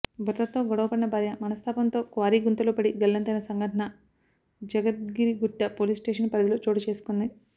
భర్తతో గొడవ పడిన భార్య మనస్తాపంతో క్వారీ గుంతలో పడి గలంతైన సంఘటన జగద్గిరిగుట్ట పోలీస్స్టేషన్ పరిధిలో చోటు చేసుకుంది